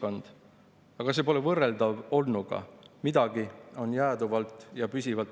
Olla ema või isa ei ole sellise niinimetatud tulevikumaailma vaatepunktist mitte bioloogiline paratamatus, vaid sotsiaalse rolli valik.